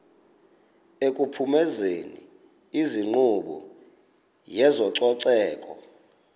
ekuphumezeni inkqubo yezococeko